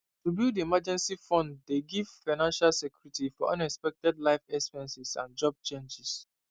to build emergency fund dey give financial security for unexpected life expenses and job changes